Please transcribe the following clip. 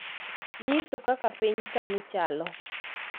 nyiso kaka piny sani chalo